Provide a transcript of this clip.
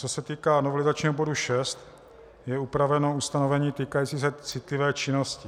Co se týká novelizačního bodu 6, je upraveno ustanovení týkající se citlivé činnosti.